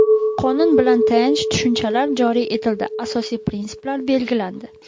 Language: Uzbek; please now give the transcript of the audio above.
Qonun bilan tayanch tushunchalar joriy etildi, asosiy prinsiplar belgilandi.